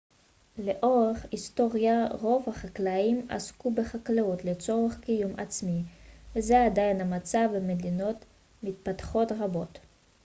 לאורך היסטוריה רוב החקלאים עסקו בחקלאות לצורך קיום עצמי וזה עדיין המצב במדינות מתפתחות רבות